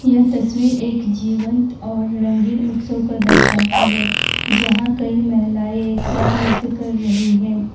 यह तस्वीर एक जीवंत और रंगीन उत्सव को दर्शाती है जहां कई महिलाएं एक साथ नृत्य कर रही हैं।